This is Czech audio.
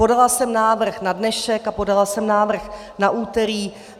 Podala jsem návrh na dnešek a podala jsem návrh na úterý.